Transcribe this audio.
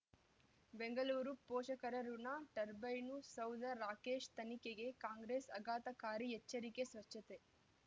ಬೆಂಗಳೂರು ಪೋಷಕರಋಣ ಟರ್ಬೈನು ಸೌಧ ರಾಕೇಶ್ ತನಿಖೆಗೆ ಕಾಂಗ್ರೆಸ್ ಆಘಾತಕಾರಿ ಎಚ್ಚರಿಕೆ ಸ್ವಚ್ಛತೆ